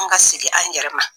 An ka segin an yɛrɛ ma.